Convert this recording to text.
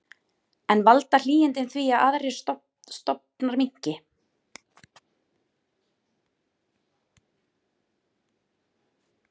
En valda hlýindin því að aðrir stofnar minnki?